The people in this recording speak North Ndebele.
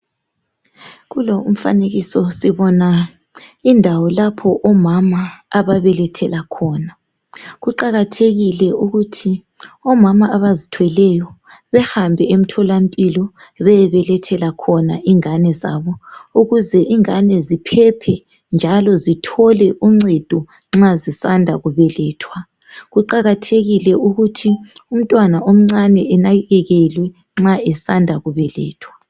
kulo umfanekiso sibona indawo lapho omama ababelethela khona kuqakathekile ukuthi omama abazithweleyo behambe emtholampilo beyebelethela khona ingane zabo ukuze ingane ziphephe njalo zithole uncedo nxa zisanda kubelethwa kuqakathekile ukuthi umntwana omncane enakekelwe nxa esanda kubelethwa